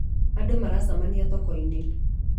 Andũ maracemania thoko-inĩ